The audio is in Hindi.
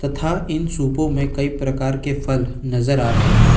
तथा इन सूपों में कई प्रकार के फल नजर आ रहे हैं।